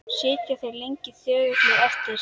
Sitja þeir lengi þögulir eftir.